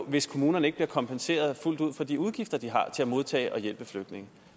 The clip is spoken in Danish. hvis kommunerne ikke bliver kompenseret fuldt ud for de udgifter de har til at modtage og hjælpe flygtninge